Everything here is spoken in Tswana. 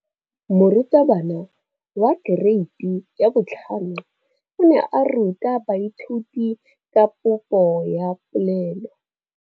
Moratabana wa kereiti ya 5 o ne a ruta baithuti ka popô ya polelô.